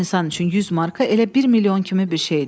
Çox insan üçün 100 marka elə 1 milyon kimi bir şeydir.